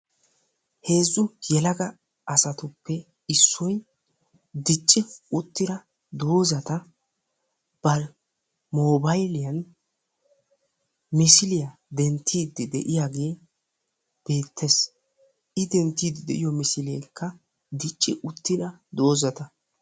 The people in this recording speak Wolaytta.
Heezzu yelaga asatuppe issoy dicci uttida doozata ba moobayliyan misiliya denttidi de'iyagee beettees. I dentiyoykka misileekka dicci uttida doozata.